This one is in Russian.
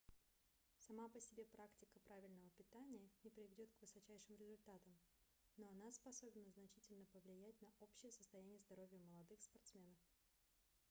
сама по себе практика правильного питания не приведет к высочайшим результатам но она способна значительно повлиять на общее состояние здоровья молодых спортсменов